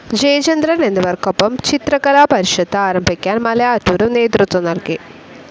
ജയചന്ദ്രൻ എന്നിവർക്കൊപ്പം ചിത്രകലാപരിഷത്ത് ആരംഭിക്കാൻ മലയാറ്റൂരും നേതൃത്വം നൽകി.